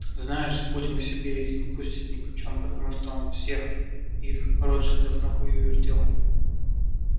знают что путин к себе их не пустит нипочём потому что он всех их ротшильдов на хую вертел